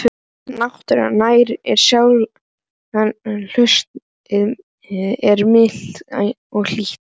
Náttúran nærir sálina Haustið er milt og hlýtt.